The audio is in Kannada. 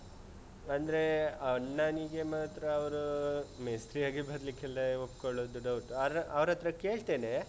ಅಂದ್ರೇ ಅಣ್ಣನಿಗೆ ಮಾತ್ರ ಅವ್ರು ಮೇಸ್ತ್ರಿಯಾಗಿ ಬರ್ಲಿಕ್ಕೆಲ್ಲ ಒಪ್ಕೊಳ್ಳುದು doubt ಅವ್ರ ಅವ್ರತ್ರ ಕೇಳ್ತೇನೆ.